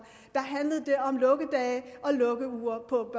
da handlede det om lukkedage og lukkeuger på